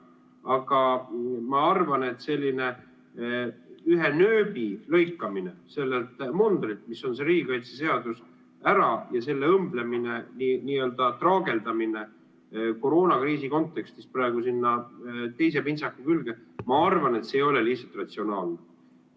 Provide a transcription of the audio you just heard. Aga ma arvan, et selline ühe nööbi äralõikamine sellelt mundrilt, mis on see riigikaitseseadus, ja selle õmblemine, n-ö traageldamine koroonakriisi kontekstis praegu sinna teise pintsaku külge, ei ole lihtsalt ratsionaalne.